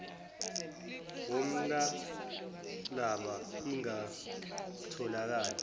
woml llaba ingatholakali